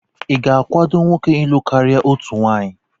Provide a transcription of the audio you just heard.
ị ga-akwado nwoke ịlụ karịa otu nwunye?